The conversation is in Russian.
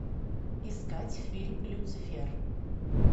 искать фильм люцифер